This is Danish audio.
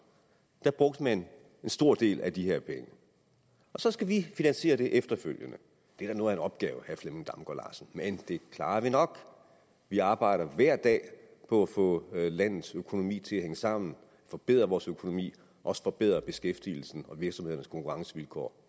brugte man en stor del af de her penge og så skal vi finansiere det efterfølgende det er da noget af en opgave men det klarer vi nok vi arbejder hver dag på at få landets økonomi til at hænge sammen forbedre vores økonomi også forbedre beskæftigelsen og virksomhedernes konkurrencevilkår